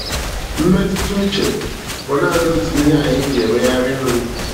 Mmetụta uche bụ naanị otu ihe anyị ji emegharị nri.